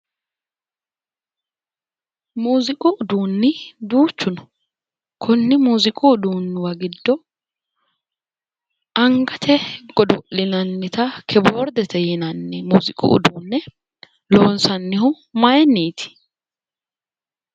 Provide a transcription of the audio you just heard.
Muziiqu uduuni duuchu no, kunni muziiqu uduunuwa giddo angate godo'linnanitta kiboordete yinanni ,muziiqu uduune loonsannihu mayinniti ?